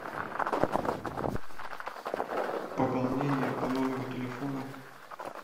пополнение по номеру телефона